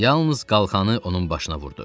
Yalnız qalxanı onun başına vurdu.